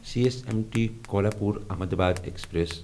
C S M T Kolhapur Ahmedabad express